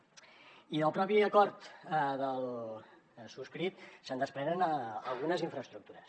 i del propi acord del subscrit se’n desprenen algunes infraestructures